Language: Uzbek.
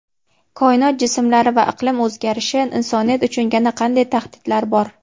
koinot jismlari va iqlim o‘zgarishi: insoniyat uchun yana qanday tahdidlar bor?.